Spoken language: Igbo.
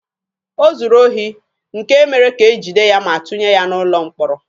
O zuru ohi, nke mere ka e jide ya ma tụnye ya n'ụlọ mkpọrọ.